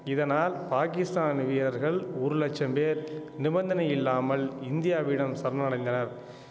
இதனால் பாகிஸ்தான் வீரர்கள் ஒரு லட்சம் பேர் நிபந்தனையில்லாமல் இந்தியாவிடம் சரணடைந்தனர்